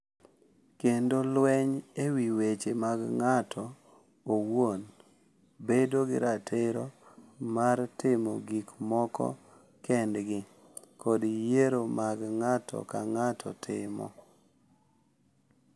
Kendo lweny e wi weche mag ng’ato owuon, bedo gi ratiro mar timo gik moko kendgi, kod yiero ma ng’ato ka ng’ato timo.